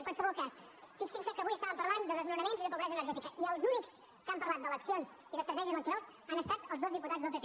en qualsevol cas fixin se que avui estàvem parlant de desnonaments i de pobresa energètica i els únics que han parlat d’eleccions i d’estratègies electorals han estat els dos diputats del pp